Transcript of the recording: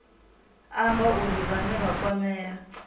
amba uri vhane vha kwamea